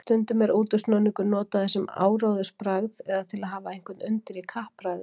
Stundum er útúrsnúningur notaður sem áróðursbragð eða til að hafa einhvern undir í kappræðum.